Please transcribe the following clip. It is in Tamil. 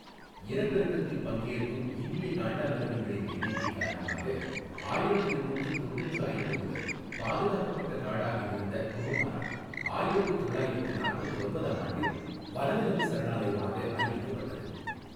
இனப்பெருக்கத்தில் பங்கேற்கும் இந்திய காண்டாமிருகங்களின் எண்ணிக்கை காரணமாக, ஆயிரத்து எண்ணூற்று தொண்ணுற்று ஐந்து முதல் பாதுகாக்கப்பட்ட காடாக இருந்த கொருமாரா, ஆயிரத்து தொள்ளாயிரத்து நாற்பத்து ஒன்பதாம் ஆண்டில் வனவிலங்குச் சரணாலயமாக அறிவிக்கப்பட்டது.